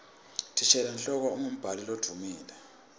thishela nhloko umgumbhali loduumile